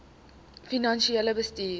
finansiële bestuur